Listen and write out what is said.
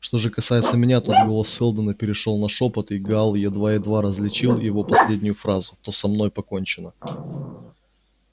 что же касается меня тут голос сэлдона перешёл на шёпот и гаал едва-едва различил его последнюю фразу то со мной покончено